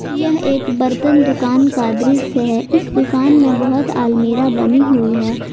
यह एक बर्तन दुकान का दृश्य है इस दुकान में बहुत अलमीरा बनी हुई है।